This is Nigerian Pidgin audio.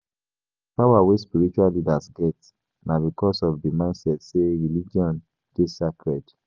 Di power wey spiritual leaders get na because of di mindset sey religion dey sacred